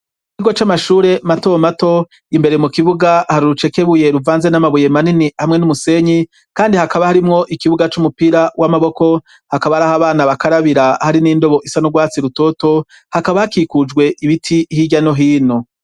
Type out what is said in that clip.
Ikigo c'amashure mato mato imbere mu kibuga hari rucekebuye ruvanze n'amabuye manini hamwe n'umusenyi kandi hakaba harimwo ikibuga c'umupira w'amaboko hakaba ari aho abana bakarabira hari n'indobo isa nu rwatsi rutoto hakaba hakikujwe ibiti hijyano hino.